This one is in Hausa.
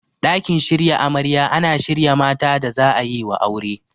Ɗakin shirya amarya ana shirya mata da za'ayiwa aure.